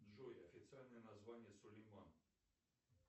джой официальное название сулейман